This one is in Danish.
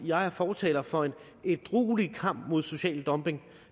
jeg er fortaler for en ædruelig kamp mod social dumping